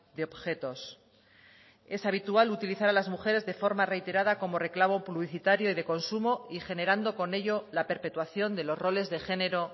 de objetos es habitual utilizar a las mujeres de forma reiterada como reclamo publicitario y de consumo y generando con ello la perpetuación de los roles de género